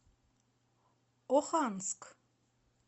оханск